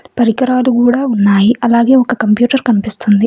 పరికరాలు కూడా ఉన్నాయి అలాగే ఒక కంప్యూటర్ కనిపిస్తుంది.